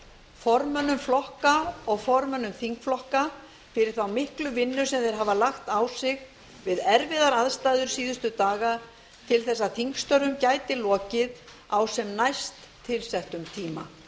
formönnum flokka og formönnum þingflokka fyrir þá miklu vinnu sem þeir hafa lagt á sig við erfiðar aðstæður síðustu daga til þess að þingstörfum gæti lokið á sem næst tilsettum tíma